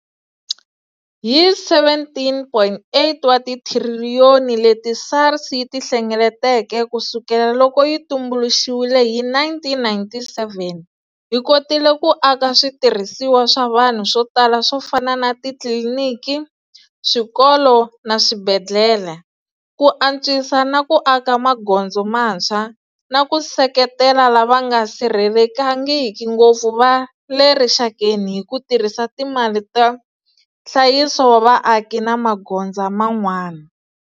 Hi R17.8 wa tithiriliyoni leti SARS yi ti hlengeleteke kusukela loko yi tumbuluxiwile hi 1997, hi kotile ku aka switirhisiwa swa vanhu swo tala swo fana na titliliniki, swikolo na swibedhlele, ku antswisa na ku aka magondzo mantshwa, na ku seketela lava nga sirhelelekangiki ngopfu va le rixakeni hi ku tirhisa timali ta nhlayiso wa vaaki na magonza man'wana.